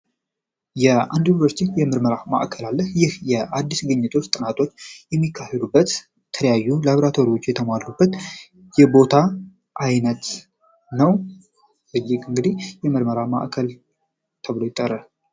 አዲስ ግኝቶ ጥናቶች የሚካሄዱበት ተለያዩ ላብራቶች የተሟሉበት የቦታ አይነት ነው።